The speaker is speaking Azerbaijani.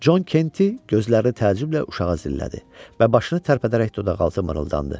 Con Kenti gözlərini təəccüblə uşağa zillədi və başını tərpədərək dodaqaltı mırıldandı.